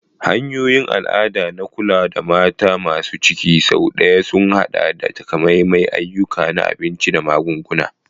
Hanyoyin al'ada na kula da mata masu ciki sau da yawa sun haɗa da takamaiman ayyuka na abinci da magunguna.